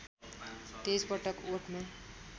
२३ पटक ओठमा